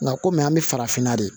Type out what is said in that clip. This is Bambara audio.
Nka kɔmi an bɛ farafinna de